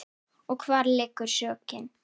Og hvar liggur sökin?